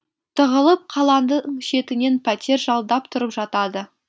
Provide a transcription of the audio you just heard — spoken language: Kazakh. тығылып қаланың шетінен пәтер жалдап тұрып жатады